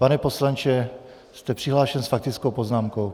Pane poslanče, jste přihlášen s faktickou poznámkou.